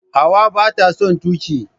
Hauwa bata son tuki.